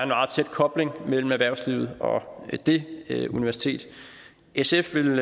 meget tæt kobling mellem erhvervslivet og det universitet sf ville